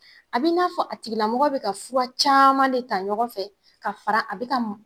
A bi n'a fɔ a tigilamɔgɔ bi ka fura caman de ta ɲɔgɔn fɛ ka fara a be ka m